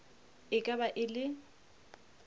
e ka ba e le